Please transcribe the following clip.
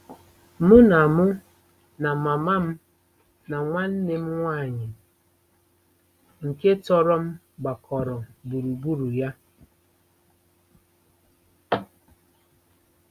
Mụ na Mụ na mama m na nwanne m nwaanyị nke tọrọ m gbakọrọ gburugburu ya.